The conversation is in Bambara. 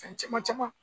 Fɛn caman caman